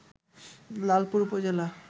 লালপুর উপজেলা